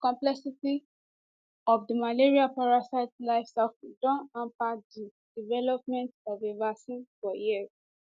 di complexity of di malaria parasite life cycle don hamper di development of a vaccine for years